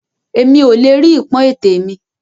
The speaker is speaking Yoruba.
Èmi o le rí ipọn ètè mi.